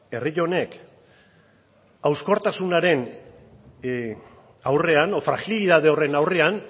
herri honek hauskortasunaren aurrean edo frajilitate horren aurrean